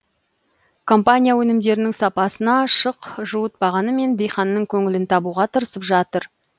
компания өнімдерінің сапасына шық жуытпағанымен диқанның көңілін табуға тырысып жатыр